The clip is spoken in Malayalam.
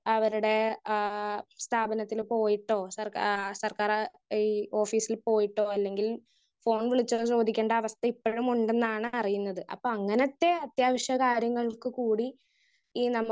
സ്പീക്കർ 1 അവരുടെ ആഹ് സ്ഥാപനത്തില് പോയിട്ടോ സർക്കാര് ആ സർക്കാര് ഈ ഓഫീസില് പോയിട്ടോ അല്ലെങ്കിൽ ഫോൺ വിളിച്ചു ചോദിക്കേണ്ട അവസ്ഥ ഇപ്പഴും ഉണ്ടെന്നാണ് അറിയുന്നത്. അപ്പൊ അങ്ങനത്തെ അത്യാവശ്യ കാര്യങ്ങൾക്ക് കൂടി ഈ നമുക്ക്